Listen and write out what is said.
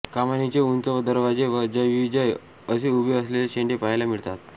कमानीचे उंच दरवाजे व जयविजय उभे असेलले शेंडे पाहायला मिळतात